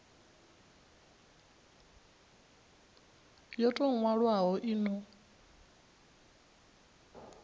yo tou nwalwaho i no